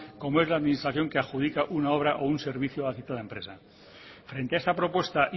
como es la administración que adjudica una obra o un servicio a la citada empresa frente a esa propuesta